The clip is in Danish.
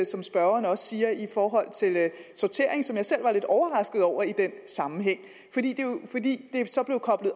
som spørgeren også siger i forhold til sortering som jeg selv var lidt overrasket over i den sammenhæng fordi det så blev koblet